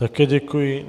Také děkuji.